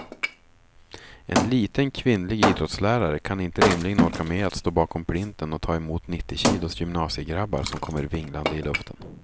En liten, kvinnlig idrottslärare kan inte rimligen orka med att stå bakom plinten och ta emot nittiokilos gymnasiegrabbar som kommer vinglande i luften.